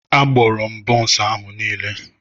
Agbụrụ m bonsu ahu niile.